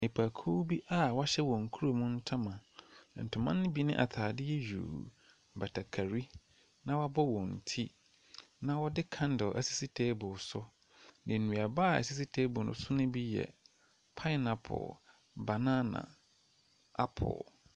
Nnipakuw bi a wɔhyɛ wɔn kurom ntoma. Ntoma ne bi ne ataadeɛ yuu, batakari, na wabɔ wɔn ti. Na wɔde kandil esisi teebol so. Nnua a esisi teebol ne so bi yɛ paenapol, banana, apol.